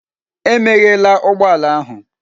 Emeghela ụgbọ ala ahụ!